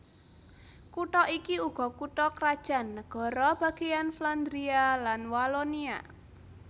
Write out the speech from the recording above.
Kutha iki uga kutha krajan nagara bagèyan Flandria lan Walonia